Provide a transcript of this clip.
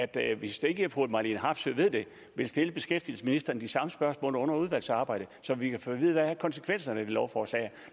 da hvis ikke fru marlene harpsøe ved det at vil stille beskæftigelsesministeren de samme spørgsmål under udvalgsarbejdet så vi kan få at vide hvad konsekvenserne af lovforslaget